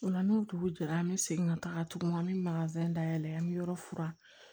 O la n'o dugu jɛra an bɛ segin ka taga tugun an bɛ dayɛlɛ an bɛ yɔrɔ furan